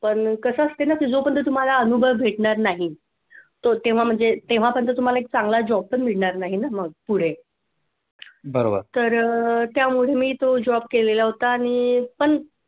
पण कसं असतंय ना कि जोपर्यंत तुम्हाला अनुभव भेटणार नाही तो तेव्हा म्हणजे तेव्हापर्यंत तुम्हाला एक चांगला job पण मिळणार नाही ना मग पुढे तर त्यामुळे मी तो job केलेला होता.